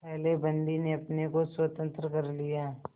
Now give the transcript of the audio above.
पहले बंदी ने अपने को स्वतंत्र कर लिया